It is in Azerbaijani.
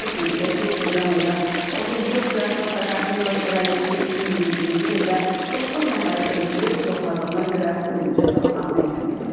Qeyd edək ki, edam edilən 34 yaşlı Takahiro Şiraishi 2021-ci ildə doqquz nəfəri öldürüb doğradığına görə ölüm cəzasına məhkum edilib.